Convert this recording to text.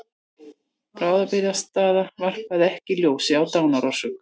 Bráðabirgðaniðurstaða varpaði ekki ljósi á dánarorsök